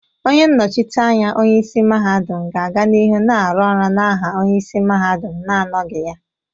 Onye nnochite anya onye isi mahadum ga-aga n'ihu na-aru oru n'aha onye isi mahadum na-anọghị ha.